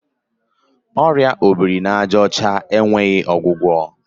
Ọrịa obirinajaọcha enweghị ọgwụgwọ.